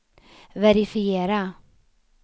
verifiera